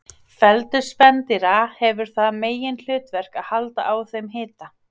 Feldur spendýra hefur það meginhlutverk að halda á þeim hita.